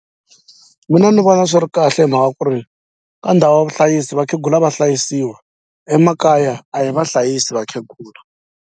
Mina ni vona swi ri kahle hi mhaka ku ri ka ndhawu ya vuhlayisi vakhegula va hlayisiwa emakaya a hi vahlayisi vakhegula.